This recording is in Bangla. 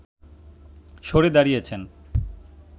সরে দাঁড়িয়েছেন